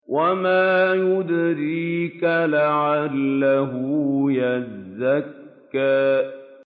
وَمَا يُدْرِيكَ لَعَلَّهُ يَزَّكَّىٰ